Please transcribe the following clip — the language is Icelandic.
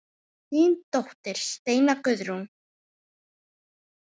Þín dóttir Steina Guðrún.